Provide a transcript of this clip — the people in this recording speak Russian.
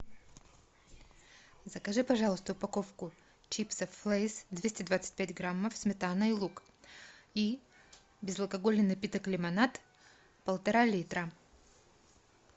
закажи пожалуйста упаковку чипсов лэйс двести двадцать пять граммов сметана и лук и безалкогольный напиток лимонад полтора литра